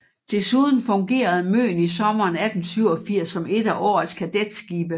Desuden fungerede Møen i sommeren 1887 som et af årets kadetskibe